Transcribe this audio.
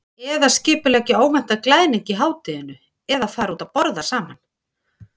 Eða skipuleggja óvæntan glaðning í hádeginu eða fara út að borða saman.